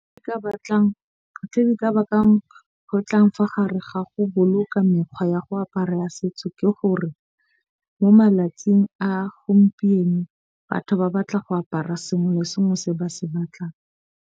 Ke ka batlang tse di ka bakang go tlang fa gare ga go boloka mekgwa ya go aparela setso. Ke gore mo malatsing a gompieno batho ba batla go apara sengwe le sengwe se ba se batlang.